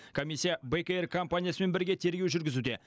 комиссия бек эйр компаниясымен бірге тергеу жүргізуде